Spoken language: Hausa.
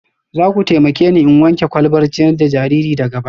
Za ku taimake ni in wanke kwalbar ciyar da jariri daga baya